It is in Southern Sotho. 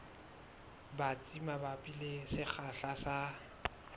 batsi mabapi le sekgahla sa